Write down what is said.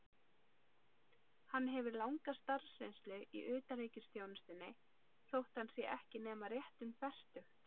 Hann hefur langa starfsreynslu í utanríkisþjónustunni, þótt hann sé ekki nema rétt um fertugt.